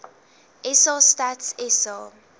sa stats sa